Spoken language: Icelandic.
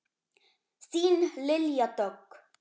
Þín Lilja Dögg.